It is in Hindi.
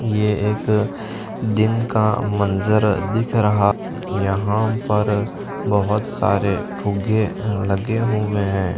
ये एक दिन का मंजर दिख रहा यहां पर बहुत सारे फुगे लगे हुए हैं।